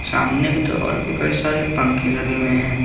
सामने की तरफ और कई सारे पंख लगे हुए हैं।